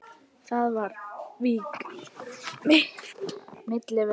Þá var vík milli vina.